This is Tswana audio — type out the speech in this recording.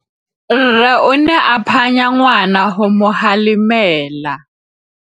Rre o ne a phanya ngwana go mo galemela.